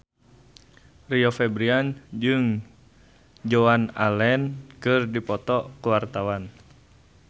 Rio Febrian jeung Joan Allen keur dipoto ku wartawan